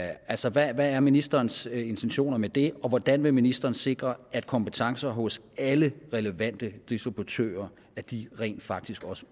altså hvad er ministerens intentioner med det og hvordan vil ministeren sikre at kompetencer hos alle relevante distributører rent faktisk også